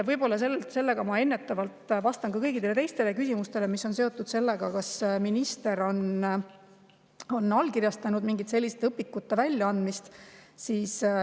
Võib-olla sellega ma ennetavalt vastan ka kõigile teistele küsimustele, mis on seotud sellega, kas minister on allkirjastanud mingite selliste õpikute väljaandmise.